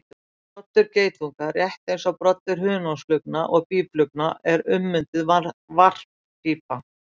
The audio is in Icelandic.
Broddur geitunga, rétt eins og broddur hunangsflugna og býflugna, er ummynduð varppípa.